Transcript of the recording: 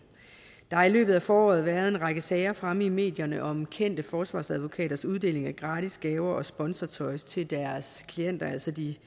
der har i løbet af foråret været en række sager fremme i medierne om kendte forsvarsadvokaters uddeling af gratis gaver og sponsortøj til deres klienter altså de